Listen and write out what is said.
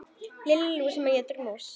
Lilla lús sem étur mús.